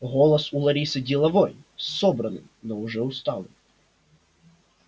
голос у ларисы деловой собранный но уже усталый